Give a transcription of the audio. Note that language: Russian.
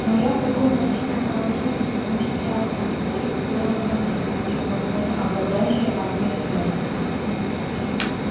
но я в таком паршивом положении потому что я один а их целая планета причём возможно обладающая атомной энергией